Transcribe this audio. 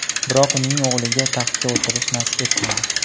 Biroq uning o‘g‘liga taxtga o‘tirish nasib etmadi.